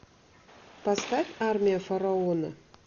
поставь армия фараона